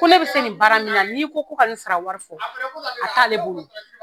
Ko ne bɛ se nin bara min na, n'i ko ko ka nin sara wari fɔ a t'ale bolo.